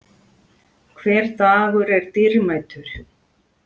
Hver dagur er dýrmætur.